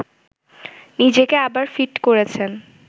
নিজেকে আবার ফিট করেছেন